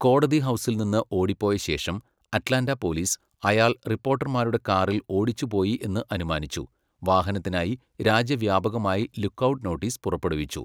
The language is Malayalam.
കോടതി ഹൗസിൽ നിന്ന് ഓടിപ്പോയ ശേഷം, അറ്റ്ലാന്റ പോലീസ് അയാൾ റിപ്പോർട്ടർമാരുടെ കാറിൽ ഓടിച്ചുപോയി എന്ന് അനുമാനിച്ചു, വാഹനത്തിനായി രാജ്യവ്യാപകമായി 'ലുക്ക് ഔട്ട്' നോട്ടീസ് പുറപ്പെടുവിച്ചു.